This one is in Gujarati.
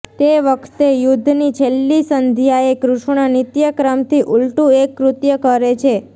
તે વખતે યુદ્ધની છેલ્લી સંધ્યાએ કૃષ્ણ નિત્ય ક્રમથી ઉલટુ એક કૃત્ય કરે છે